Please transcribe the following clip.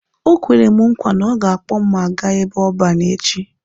Ọ kwere m nkwa na ọ ga-akpọ mụ aga ebe ọban echi.